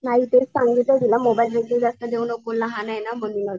नाही तेच मोबाईल वगैरे जास्त देऊ नको लहाने ना म्हणूनच.